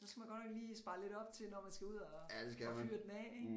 Så skal man godt nok lige spare lidt op til når man skal ud og og fyre den af ik